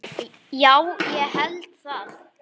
Já, ég held það.